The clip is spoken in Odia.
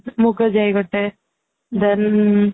ମୁଗ ଯାଇ ଗୋଟେ then